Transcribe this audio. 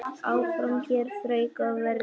Áfram hér þrauka á verði.